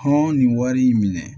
Hɔn ni wari in minɛ